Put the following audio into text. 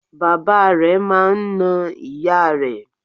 Bàbá rẹ̀ máa n na ìyá rẹ̀